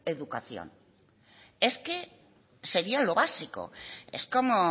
educación es que sería lo básico es como